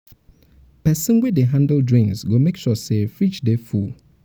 pesin pesin wey um dey handle drinks go make sure say fridge um dey full. um